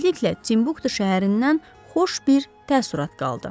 Tezliklə Timbuktu şəhərindən xoş bir təəssürat qaldı.